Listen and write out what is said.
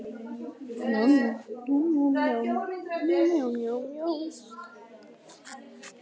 Eddu líður sem sigurvegara.